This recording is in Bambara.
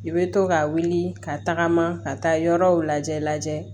I bɛ to ka wuli ka tagama ka taa yɔrɔw lajɛ lajɛ